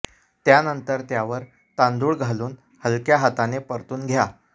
त्यानंतर त्यावर तांदूळ घालून हलक्या हाताने परतून घ्या